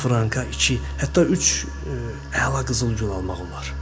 10 franka iki, hətta üç əla qızıl gül almaq olar.